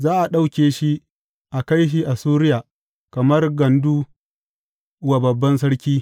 Za a ɗauke shi a kai Assuriya kamar gandu wa babban sarki.